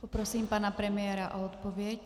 Poprosím pana premiéra o odpověď.